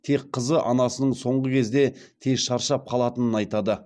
тек қызы анасының соңғы кездері тез шаршап қалатынын айтады